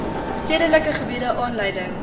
stedelike gebiede aanleiding